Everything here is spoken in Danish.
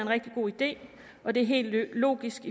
rigtig god idé og det er helt logisk